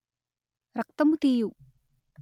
రక్తము తీయు